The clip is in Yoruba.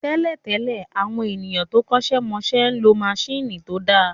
Tẹ́lẹ̀ tẹ́lẹ̀, àwọn ènìyàn tó kọ́ṣẹ́ mọṣẹ́ ń lo maṣíìnì tó dáa